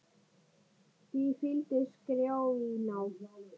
Því fylgdi skrjáf í ná